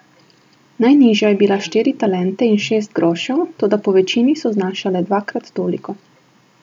Najnižja je bila štiri talente in šest grošev, toda povečini so znašale dvakrat toliko.